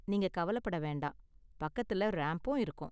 நீங்க கவலப்பட வேண்டாம், பக்கத்துல ரேம்ப்பும் இருக்கும்.